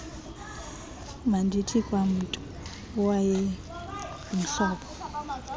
mandithi kwamntu owayengumhlobo